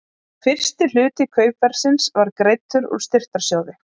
Fyrsti hluti kaupverðsins var greiddur úr styrktarsjóði